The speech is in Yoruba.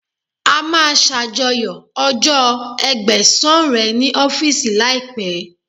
A máa ṣàjọyọ̀ ọjọ́ Ẹgbẹ̀sán rẹ̀ ní ọ́fíìsì láìpẹ́.